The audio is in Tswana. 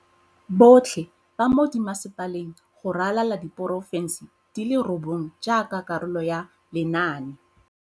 Botlhe ba mo dimmasepaleng go ralala diporofense di le robongwe jaaka karolo ya lenaane.